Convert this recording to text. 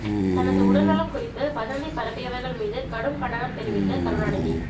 தனது உடல் நலம் குறித்து வதந்தி பரப்பியவர்கள் மீது கடும் கண்டனம் தெரிவித்த கருணாநிதி